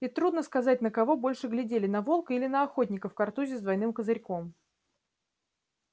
и трудно сказать на кого больше глядели на волка или на охотника в картузе с двойным козырьком